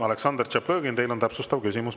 Aleksandr Tšaplõgin, teil on täpsustav küsimus.